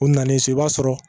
U nalen so i b'a sɔrɔ